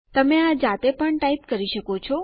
તમે આ જાતે પણ ટાઇપ કરી શકો છો